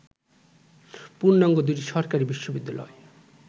পূর্ণাঙ্গ দুটি সরকারি বিশ্ববিদ্যালয়